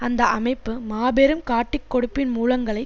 அந்த அமைப்பு மாபெரும் காட்டிக்கொடுப்பின் மூலங்களை